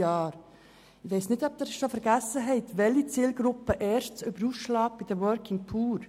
Ich weiss nicht, ob Sie bereits vergessen haben, welche Zielgruppe bei den Working Poor oben ausschlägt.